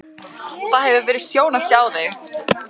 Það hefur verið sjón að sjá mig.